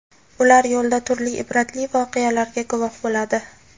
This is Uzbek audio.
Ular yo‘lda turli ibratli voqealarga guvoh bo‘ladi.